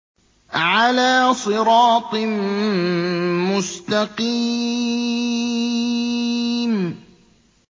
عَلَىٰ صِرَاطٍ مُّسْتَقِيمٍ